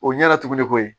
O ɲɛna tuguni ko ye